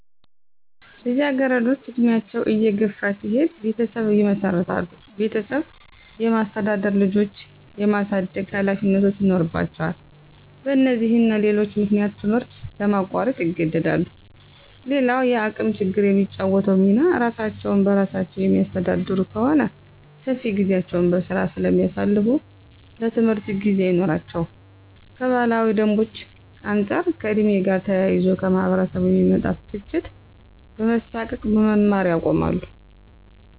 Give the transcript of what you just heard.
ልጃገረዶች እድሜያቸው እየገፋ ሲሄድ ቤተሰብ ይመሰርታሉ ቤተሰብ የማስተዳደር፣ ልጆች የማሳደግ ሀላፊነቶች ይኖርባቸዋል በነዚህና ሌሎች ምክንያቶች ትምህርት ለማቋረጥ ይገደዳሉ። _ሌላዉ የአቅም ችግር የሚጫወተዉ ሚና እራሳቸዉን በራሳቸዉ የሚያስተዳድሩ ከሆነ ሰፊ ጊዜያቸዉን በስራ ስለሚያሳልፋ ለትምህርት ጊዜ አይኖራቸውም _ከባህላዊ ደንቦች አንፃር ከ ዕድሜ ጋር ተያይዞ ከማህበረሰቡ የሚመጣ ትችት በመሳቀቅ መማር ያቆማሉ